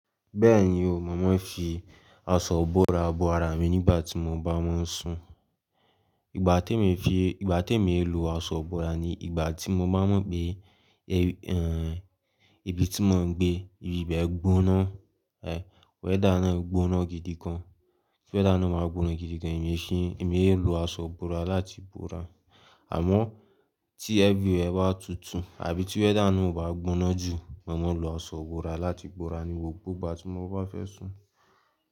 Bẹ́ẹ̀ni o, momá fi aṣọ ìbòra bòra mi nígbà tí mo bá máa ń sùn. Ìgbà tí èmi fi, ìgbà tí èmi ń lo aṣọ ìbòra ni ìgbà tí mo bá mọ̀ pé, e ẹ́, ibi tí mò ń gbé, ibe gbóná, ẹ́, weather náà gbóná gidi gan. Ti weather náà bá gbóná gidi gan èmi ṣíì, èmi èlò aṣọ ìbòra láti bòra. Àmọ́ tí everywhere bá tutù àbí ti weather náà ò bá gbóná jù, mo màá lo aṣọ ìbòra láti bòra ní gbogbo ìgbà tí mò bá fẹ́ sùn.